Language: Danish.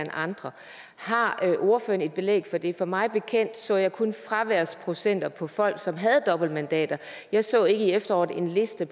andre har ordføreren belæg for det for mig bekendt så jeg kun fraværsprocenter for folk som havde dobbeltmandater jeg så ikke i efteråret en liste